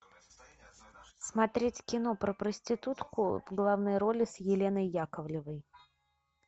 смотреть кино про проститутку в главной роли с еленой яковлевой